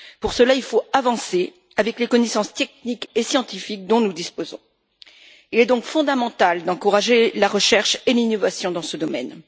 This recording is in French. Pour cela, il faut avancer avec les connaissances techniques et scientifiques dont nous disposons et il est donc fondamental d'encourager la recherche et l'innovation dans ce domaine.